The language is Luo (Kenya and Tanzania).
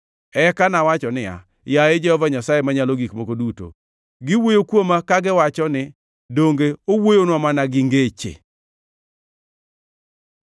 Eka nawacho niya, “Yaye Jehova Nyasaye Manyalo Gik Moko Duto, giwuoyo kuoma kagiwacho ni, ‘Donge owuoyonwa mana gi ngeche?’ ”